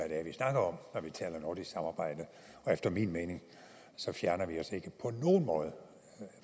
er vi snakker om når vi taler nordisk samarbejde og efter min mening fjerner vi os ikke på nogen måde